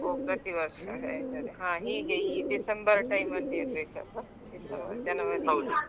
ಹೋ ಪ್ರತಿವರ್ಷ ನಡೀತದೆ ಹೀಗೆ ಈ December time ಅಲ್ಲಿ ಇರ್ಬೇಕಲ್ವಾ December January ಅಂತ time ಅಲ್ಲಿ .